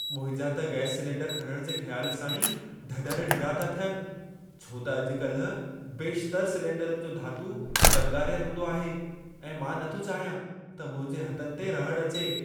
मुंहिंजा त gas cylinder खणणु जे ख़्यालु सां ई ढढर ढिरा था थियनि, छो त अॼु-कल्हि बेशितरु सलेंडरनि जो धातू ज़ंगारियलु हूंदो आहे ऐं मां नथो चाहियां त मुंहिंजे हथनि ते रहड़ अचे।